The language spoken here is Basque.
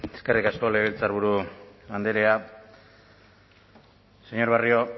eskerrik asko legebiltzarburu andrea señor barrio